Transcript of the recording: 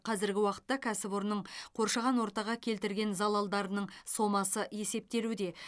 қазіргі уақытта кәсіпорынның қоршаған ортаға келтірген залалдарының сомасы есептелуде